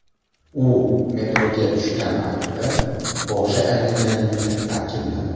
U metroga tushgan vaqtida boshi aylanganligini ta’kidladi.